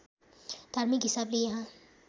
धार्मिक हिसाबले यहाँ